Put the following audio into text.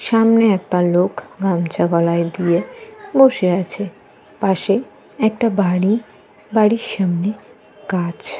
সামনে একটা লোক গামছা গলায় দিয়ে বসে আছে। পাশে একটা বাড়ি। বাড়ির সামনে গাছ।